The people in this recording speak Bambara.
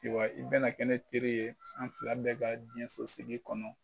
Wa i bɛna kɛ ne teri ye an fila bɛ ka jiɲɛsosigi kɔnɔ